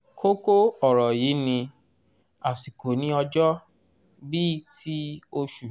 kókó ọ̀rọ̀ yìí ni " àsìkò ní ọjọ́" bí i ti osù.